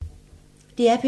DR P2